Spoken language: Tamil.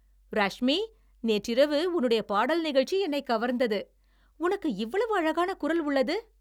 ராஷ்மி, நேற்றிரவு உன்னுடைய பாடல் நிகழ்ச்சி என்னைக் கவர்ந்தது. உனக்கு இவ்வளவு அழகான குரல் உள்ளது.